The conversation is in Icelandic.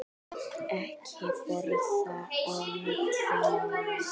Ekki borða á milli mála.